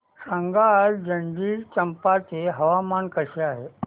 सांगा आज जंजगिरचंपा चे हवामान कसे आहे